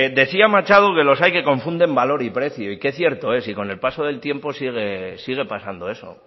decía machado que los hay que confunden valor y precio y qué cierto es y con el paso del tiempo sigue pasando eso